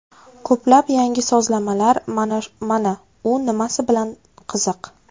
Ko‘plab yangi sozlamalar – mana u nimasi bilan qiziq.